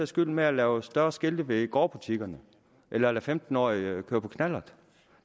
skyld med at lave større skilte ved gårdbutikkerne eller lade femten årige køre på knallert